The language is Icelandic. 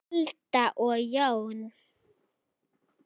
Alda og Jón.